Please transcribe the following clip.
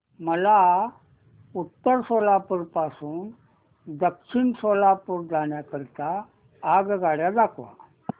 मला उत्तर सोलापूर पासून दक्षिण सोलापूर जाण्या करीता आगगाड्या दाखवा